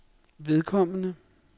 vedkommende